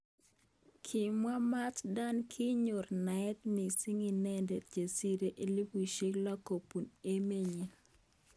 Kimwa Mat Dan kinyor naet mising inendet chesirei elipushek lo kobun emet nyi.